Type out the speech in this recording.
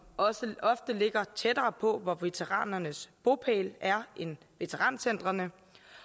også ofte ligger tættere på hvor veteranernes bopæl er end veterancentrene